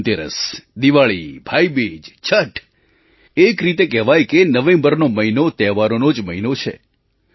ધનતેરસ દિવાળી ભાઈબીજ છઠ એક રીતે કહેવાય કે નવેમ્બરનો મહિનો તહેવારોનો જ મહિનો છે